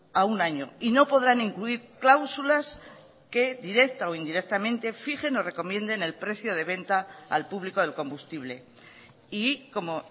a un año y no podrán incluir cláusulas que directa o indirectamente fijen o recomienden el precio de venta al público del combustible y como